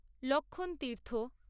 Lakshman Tirtha